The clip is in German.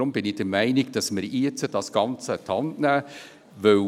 Ich bin dafür, dass man jetzt das Ganze an die Hand nimmt.